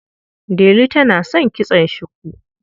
Delu tana son kitson shuku.